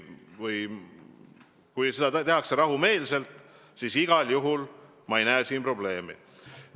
Kui seda tehakse rahumeelselt, siis ei näe ma siin probleemi.